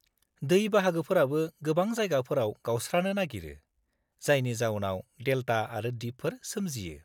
-दै बाहागोफोराबो गोबां जायगाफोराव गावस्रानो नागिरो जायनि जाउनाव देलता आरो दिपफोर सोमजियो।